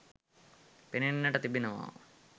පෙනෙන්නට තිබෙනවා.